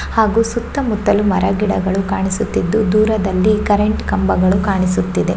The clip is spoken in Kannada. ಹಾಗು ಸುತ್ತಮುತ್ತಲು ಮರಗಿಡಗಳು ಕಾಣಿಸುತ್ತಿದ್ದು ದೂರದಲ್ಲಿ ಕರೆಂಟ್ ಕಂಬಗಳು ಕಾಣಿಸುತ್ತಿದೆ.